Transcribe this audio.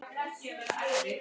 Heimili ömmu.